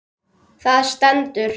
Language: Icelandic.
Það stendur